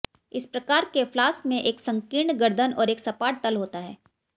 इस प्रकार के फ्लास्क में एक संकीर्ण गर्दन और एक सपाट तल होता है